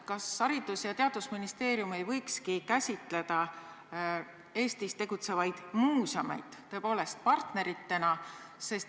Kas Haridus- ja Teadusministeerium ei võiks käsitledagi Eestis tegutsevaid muuseume partneritena?